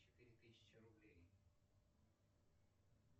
четыре тысячи рублей